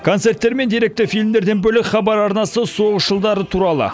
концерттер мен деректі фильмдерден бөлек хабар арнасы соғыс жылдары туралы